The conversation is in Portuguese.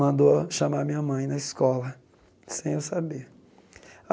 Mandou chamar a minha mãe na escola, sem eu saber.